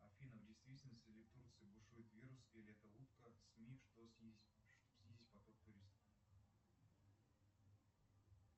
афина в действительности ли в турции бушует вирус или это утка сми чтобы снизить поток туристов